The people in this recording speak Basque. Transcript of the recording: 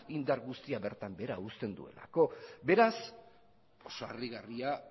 indar guztia bertan behera uzten duelako beraz oso harrigarria